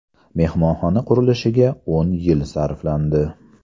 Mehmonxona qurilishiga o‘n yil sarflandi.